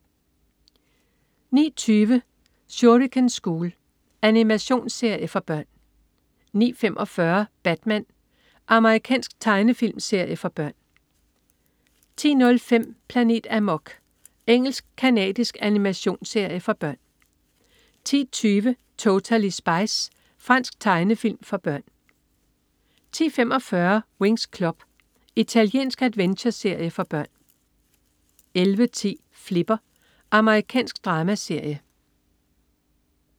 09.20 Shuriken School. Animationsserie for børn 09.45 Batman. Amerikansk tegnefilmserie for børn 10.05 Planet Amok. Engelsk-canadisk animationsserie for børn 10.20 Totally Spies. Fransk tegnefilm for børn 10.45 Winx Club. Italiensk adventureserie for børn 11.10 Flipper. Amerikansk dramaserie